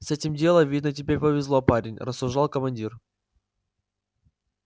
с этим делом видно тебе повезло парень рассуждал командир